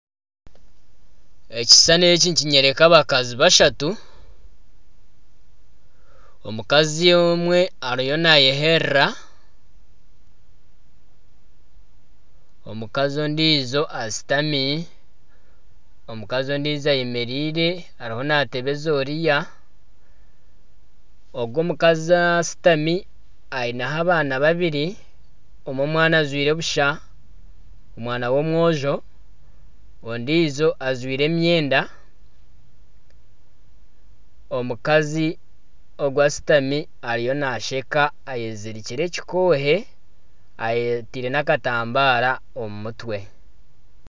Ekishushane eki nikinyeraka abakazi bashatu omukazi omwe ariyo naayeyerera, omukazi ondiijo ashutami, omukazi ondiijo ayemereire ariyo naatebeza oriya, ogwo omukazi ashutami aineho abaana babiri omwe omwana ajwire busha, omwana w'omwojo ondiijo ajwire emyenda, omukazi ogwo ashutami ariyo naasheka eyezirikire ekikoohe eyetaire n'akatambara omu mutwe